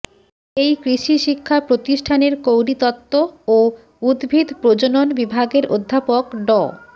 এই কৃষি শিক্ষা প্রতিষ্ঠানের কৌলিতত্ত্ব ও উদ্ভিদ প্রজনন বিভাগের অধ্যাপক ড